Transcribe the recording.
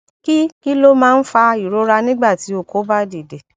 kí kí ló máa ń fa ìrora nígbà tí oko ba dide